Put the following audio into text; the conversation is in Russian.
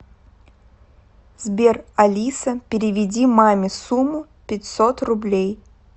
сбер алиса переведи маме сумму пятьсот рублей